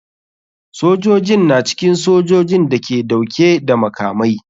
Sojojin na cikin sojojin da ke dauke da makamai.